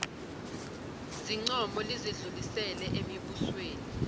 zincomo lizidlulisele emibusweni